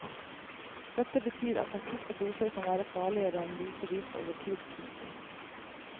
Dette betyr at akutte doser kan være farligere enn doser gitt over tid. punktum